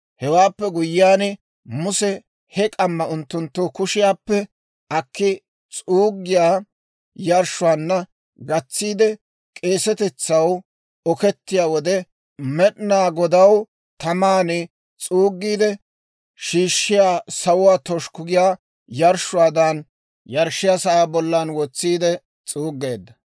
Hewaappe guyyiyaan, Muse he k'umaa unttunttu kushiyaappe akki, s'uuggiyaa yarshshuwaanna gatsiide, k'eesetetsaw okettiyaa wode Med'inaa Godaw taman s'uugiide shiishshiyaa, sawuwaa toshukku giyaa yarshshuwaadan, yarshshiyaa sa'aa bollan wotsiide s'uuggeedda.